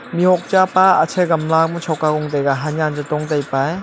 mihhok chapa ache gamala ma shok aa jong tega ahanen che pong tai pa aa.